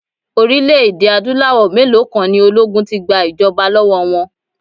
Orílẹ̀-èdè Adúláwọ̀ mélòó kan ni ológun ti gba ìjọba lọ́wọ́ wọn.